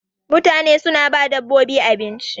mutane suna ba dabbobin abinci